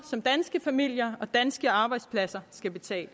som danske familier og danske arbejdspladser skal betale